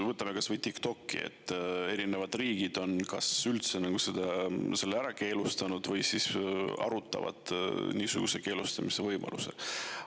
Me teame, et eri riigid on näiteks TikToki kas üldse ära keelanud või arutavad selle keelustamise võimaluste üle.